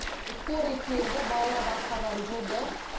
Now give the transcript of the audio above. скорый келді балалардың асқазанын жуды